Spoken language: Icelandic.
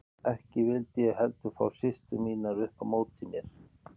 Ekki vildi ég heldur fá systur mínar upp á móti mér.